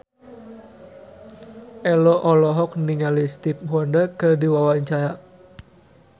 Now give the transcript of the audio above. Ello olohok ningali Stevie Wonder keur diwawancara